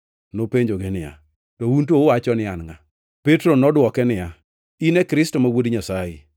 Nopenjogi niya, “To un to uwacho ni an ngʼa?” Petro nodwoke niya, “In Kristo ma wuod Nyasaye.”